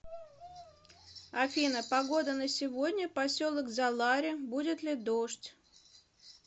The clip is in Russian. афина погода на сегодня поселок залари будет ли дождь